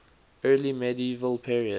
early medieval period